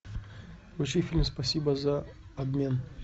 включи фильм спасибо за обмен